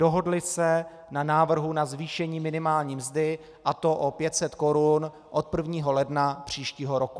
Dohodli se na návrhu na zvýšení minimální mzdy, a to o 500 korun od 1. ledna příštího roku.